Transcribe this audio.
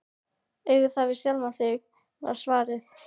Eigðu það við sjálfan þig, var svarið.